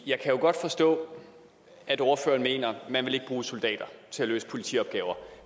jeg kan jo godt forstå at ordføreren mener man ikke vil bruge soldater til at løse politiopgaver